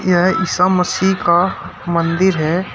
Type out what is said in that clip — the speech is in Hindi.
यह ईसा मसीह का मंदिर है।